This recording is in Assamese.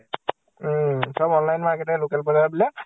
উম। চব online market হে, local বজাৰ বিলাক খাই দিছে